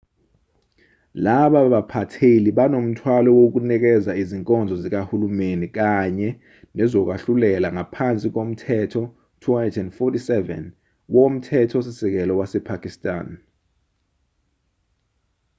laba baphatheli banomthwalo wokunikeza izinkonzo zikahulumeni kanye nezokwahlulela ngaphansi komthetho 247 womthetho-sisekelo wasepakistan